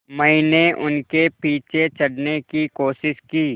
मैंने उनके पीछे चढ़ने की कोशिश की